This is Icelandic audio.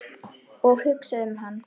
Og hugsa um hann.